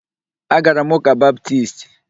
Agara m ụ́kà Baptisti